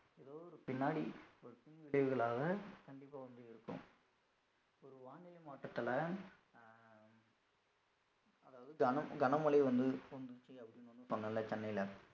ஏதோ ஒரு பின்னாடி ஒரு தீங்கு விளைவுகளாக கண்டிப்பா வந்து இருக்கும் ஒரு வானிலை மாற்றதுனால அஹ் அதாவது கன~ கனமழை வந்து சென்னையில